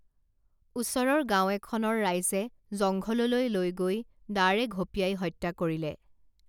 ওচৰৰ গাঁও এখনৰ ৰাইজে জংঘললৈ লৈ গৈ দাৰে ঘপিয়াই হত্যা কৰিলে